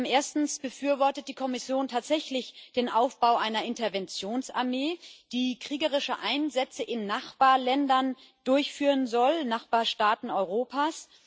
Erstens Befürwortet die Kommission tatsächlich den Aufbau einer Interventionsarmee, die kriegerische Einsätze in Nachbarländern durchführen soll Nachbarstaaten Europas?